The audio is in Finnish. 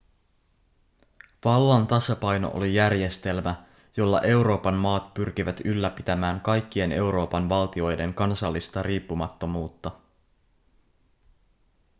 vallan tasapaino oli järjestelmä jolla euroopan maat pyrkivät ylläpitämään kaikkien euroopan valtioiden kansallista riippumattomuutta